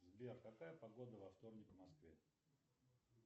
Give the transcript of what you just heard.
сбер какая погода во вторник в москве